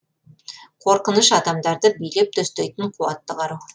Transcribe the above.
қорқыныш адамдарды билеп төстейтін қуатты қару